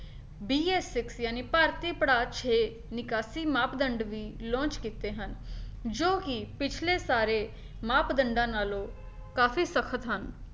BS six ਜਾਣੀ ਭਾਰਤੀ ਪੜਾਅ ਛੇ ਨਿਕਾਸੀ ਮਾਪਦੰਡ ਵੀ launch ਕੀਤੇ ਹਨ, ਜੋ ਕੀ ਪਿਛਲੇ ਸਾਰੇ ਮਾਪਦੰਡਾਂ ਨਾਲੋਂ ਕਾਫੀ ਸਖਤ ਹਨ।